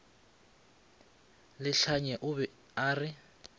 lehlanye o be a re